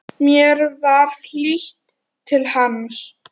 Mér var hlýtt til hans.